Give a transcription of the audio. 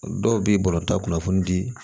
Dɔw bɛ bɔlɔlɔ ta kunnafoni di